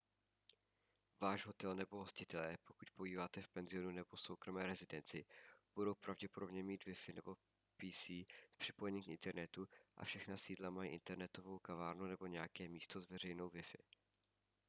váš hotel nebo hostitelé pokud pobýváte v penzionu nebo soukromé rezidenci budou pravděpodobně mít wi-fi nebo pc s připojením k internetu a všechna sídla mají internetovou kavárnu nebo nějaké místo s veřejnou wi-fi